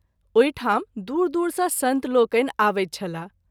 ओहि ठाम दूर-दूर सँ संत लोकनि आबैत छलाह।